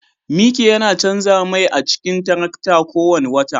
Mike yana canza mai a cikin tarakta kowane wata